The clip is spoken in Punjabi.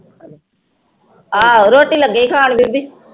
ਆਹੋ ਰੋਟੀ ਲੱਗੇ ਸੀ ਖਾਣ ਬੀਬੀ।